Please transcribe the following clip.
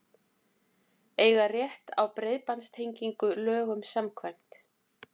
Eiga rétt á breiðbandstengingu lögum samkvæmt